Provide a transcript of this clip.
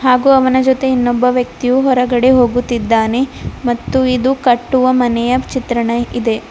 ಹಾಗೂ ಅವನ ಜೊತೆ ಇನ್ನೊಬ್ಬ ವ್ಯಕ್ತಿಯು ಹೊರಗಡೆ ಹೋಗುತ್ತಿದ್ದಾನೆ ಮತ್ತು ಇದು ಕಟ್ಟುವ ಮನೆಯ ಚಿತ್ರಣ ಇದೆ.